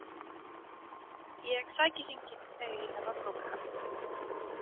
Ég sæki hringinn þegar ég þarf að brúka hann.